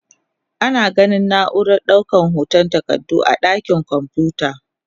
Ana ganin na'urar daukar hotan takardu a dakin kwamfuta.